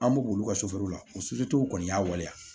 An b'u olu ka la o kɔni y'a waleya